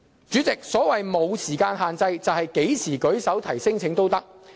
主席，所謂"無時間限制"，是指何時提出聲請也可以。